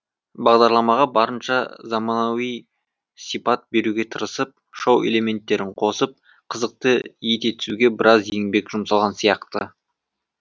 бағдарламаға барынша заманауи сипат беруге тырысып шоу элементтерін қосып қызықты ете түсуге біраз еңбек жұмсалған сияқты